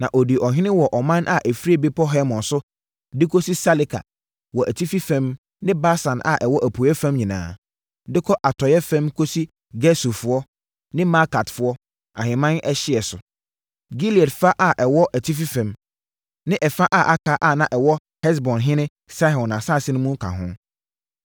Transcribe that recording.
Na ɔdii ɔhene wɔ ɔman a ɛfiri Bepɔ Hermon so de kɔsi Saleka wɔ atifi fam ne Basan a ɛwɔ apueeɛ fam nyinaa, de kɔ atɔeɛ fam kɔsi Gesurfoɔ ne Maakatfoɔ ahemman ɛhyeɛ so. Gilead fa a ɛwɔ atifi fam, ne ɛfa a aka a na ɛwɔ Hesbonhene Sihon asase mu no ka ho.